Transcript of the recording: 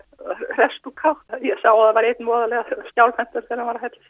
hresst og kátt ég sá að það var einn voðalega skjálfhentur þegar hann var að hella